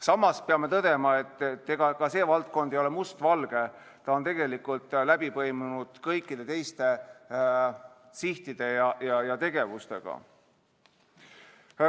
Samas peame tõdema, et ega ka see valdkond ei ole mustvalge, see on tegelikult läbi põimunud kõikide teiste sihtide ja tegevustega.